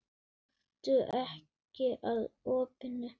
Gakktu ekki að opinu.